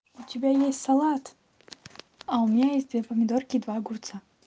у тебя есть салат а у меня есть две помидорки и два огурца